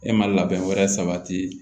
E ma labɛn wɛrɛ sabati